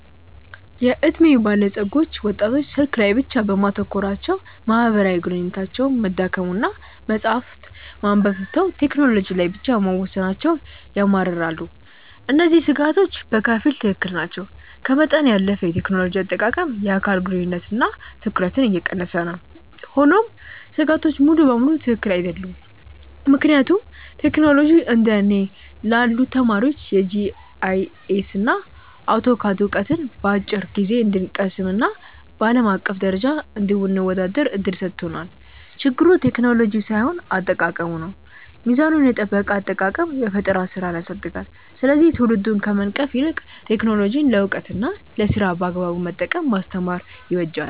የዕድሜ ባለጸጎች ወጣቶች ስልክ ላይ ብቻ በማተኮራቸው ማህበራዊ ግንኙነታቸው መዳከሙንና መጽሐፍት ማንበብ ትተው ቴክኖሎጂ ላይ ብቻ መወሰናቸውን ያማርራሉ። እነዚህ ስጋቶች በከፊል ትክክል ናቸው፤ ከመጠን ያለፈ የቴክኖሎጂ አጠቃቀም የአካል ግንኙነትንና ትኩረትን እየቀነሰ ነው። ሆኖም ስጋቶቹ ሙሉ በሙሉ ትክክል አይደሉም፤ ምክንያቱም ቴክኖሎጂ እንደ እኔ ላሉ ተማሪዎች የጂአይኤስና አውቶካድ ዕውቀትን በአጭር ጊዜ እንድንቀስምና በአለም አቀፍ ደረጃ እንድንወዳደር እድል ሰጥቶናል። ችግሩ ቴክኖሎጂው ሳይሆን አጠቃቀሙ ነው። ሚዛኑን የጠበቀ አጠቃቀም የፈጠራ ስራን ያሳድጋል፤ ስለዚህ ትውልዱን ከመንቀፍ ይልቅ ቴክኖሎጂን ለዕውቀትና ለስራ በአግባቡ መጠቀምን ማስተማር ይበጃል።